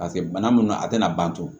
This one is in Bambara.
Paseke bana mun do a tɛna ban pewu